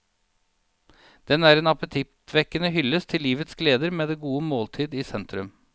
Den er en appetittvekkende hyllest til livets gleder med det gode måltid i sentrum.